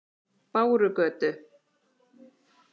Bárugötu